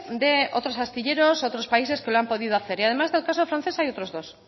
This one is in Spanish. de otros astilleros otros países que lo han podido hacer y además de los que usted ha contado hay otros dos